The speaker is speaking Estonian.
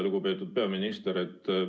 Lugupeetud peaminister!